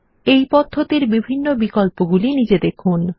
এই পদ্ধতির বিভিন্ন বিকল্পগুলি নিজে দেখুন